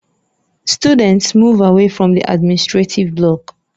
Students, move away from the administrative block